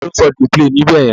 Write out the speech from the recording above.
Ta ni ó ń "dey play" níbẹ̀ yẹn?